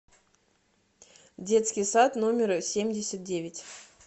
детский сад номер семьдесят девять